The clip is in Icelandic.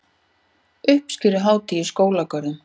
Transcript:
Uppskeruhátíð í skólagörðum